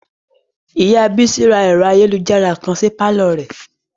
Ìyá Bísí ra kọ̀mpútà kan sí pàlọ́ rẹ̀